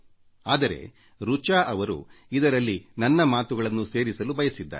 ಆದರೆ ರಿಚಾಜೀ ಅವರು ಇದರಲ್ಲಿ ನನ್ನ ಮಾತುಗಳನ್ನೂ ಸೇರಿಸಲು ಬಯಸಿದ್ದಾರೆ